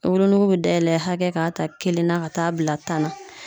Wolonogo be dayɛlɛ hakɛ k'a ta kelen na ka t'a bila tan na